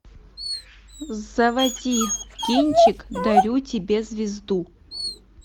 заводи кинчик дарю тебе звезду